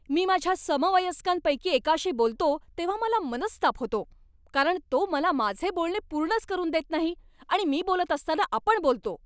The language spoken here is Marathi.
मी माझ्या समवयस्कांपैकी एकाशी बोलतो तेव्हा मला मनस्ताप होतो, कारण तो मला माझे बोलणे पूर्णच करून देत नाही आणि मी बोलत असताना आपण बोलतो.